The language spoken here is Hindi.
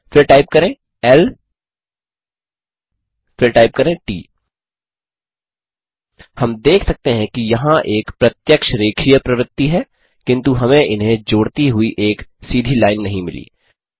फिर टाइप करें ल फिर टाइप करें ट हम देख सकते हैं कि यहाँ एक प्रत्यक्ष रेखीय प्रवृत्ति है किन्तु हमें इन्हें जोड़ती हुई एक सीधी लाइन नहीं मिली